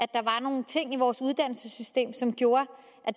der var nogle ting i vores uddannelsessystem som gjorde